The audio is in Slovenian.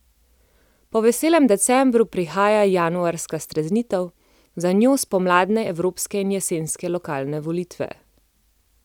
Po veselem decembru prihaja januarska streznitev, za njo spomladanske evropske in jesenske lokalne volitve.